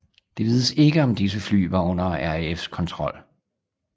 Det vides ikke om disse fly var under RAFs kontrol